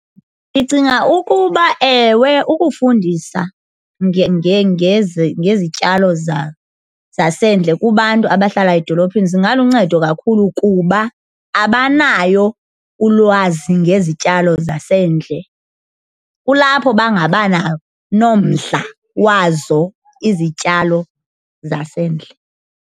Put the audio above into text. Ndicinga ukuba ewe, ukufundisa ngezityalo zasendle kubantu abahlala edolophini zingaluncedo kakhulu kuba abanayo ulwazi ngezityalo zasendle. Kulapho bangabanomdla wazo izityalo zasendle.